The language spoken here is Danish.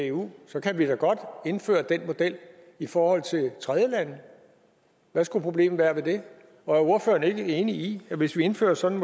eu så kan vi da indføre den model i forhold til tredjelande hvad skulle problemet være ved det og er ordføreren ikke enig i at hvis vi indførte sådan